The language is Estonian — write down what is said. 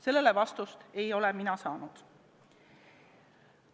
Sellele vastust ei ole mina saanud.